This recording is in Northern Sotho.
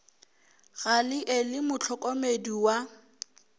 gale e le mohlokomedi wa